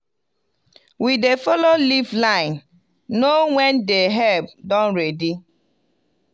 we dey follow leaf line know when the herb don ready.